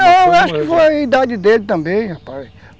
Não, acho que foi a idade dele também, rapaz.